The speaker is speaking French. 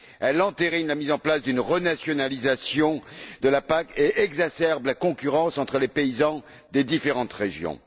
Elle entérine la mise en place d'une renationalisation de la PAC et exacerbe la concurrence entre les paysans des différentes régions.